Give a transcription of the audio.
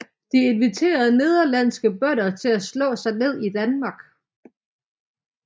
De inviterede nederlandske bønder til at slå sig ned i Danmark